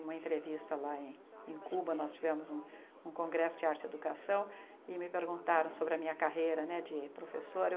Uma entrevista lá em Cuba, nós tivemos um um congresso de arte e educação e me perguntaram sobre a minha carreira né de professora.